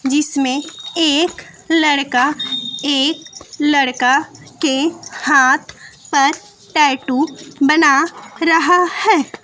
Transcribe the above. जिसमें एक लड़का एक लड़का के हाथ पर टैटू बना रहा है।